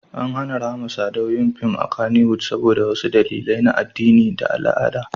An hana Rahama Sadau yin fim a Kannywood saboda wasu dalilai na addini da al'ada.